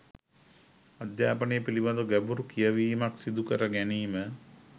අධ්‍යාපනය පිළිබඳව ගැඹුරු කියවීමක් සිදුකර ගැනීම